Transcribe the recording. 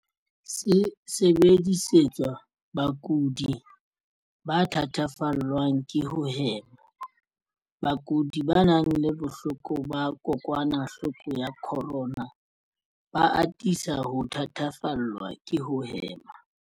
Se sebedisetswa bakudi ba thatafallwang ke ho hema. Bakudi ba nang le bohloko ba kokwanahloko ya corona CO-VID-19 ba atisa ho thatafallwa ke ho hema.